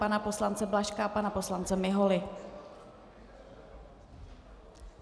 Pana poslance Blažka a pana poslance Miholy.